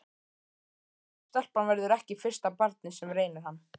Gott ef stelpan verður ekki fyrsta barnið sem reynir hann.